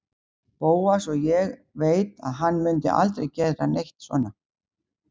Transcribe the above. Bóas og ég veit að hann mundi aldrei gera neitt svona.